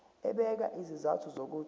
ebeka izizathu zokuthi